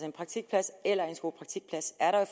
en praktikplads eller en skolepraktikplads er der